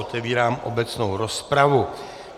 Otevírám obecnou rozpravu.